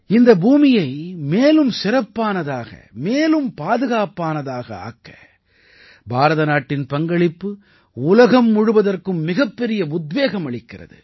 இந்த பூமியை மேலும் சிறப்பானதாக மேலும் பாதுகாப்பானதாக ஆக்க பாரத நாட்டின் பங்களிப்பு உலகம் முழுவதற்கும் மிகப்பெரிய உத்வேகம் அளிக்கிறது